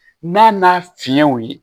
N'a n'a fiɲɛw ye